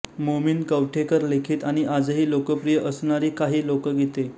मोमीन कवठेकर लिखित आणि आजही लोकप्रिय असणारी काही लोकगीते